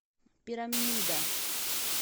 пирамида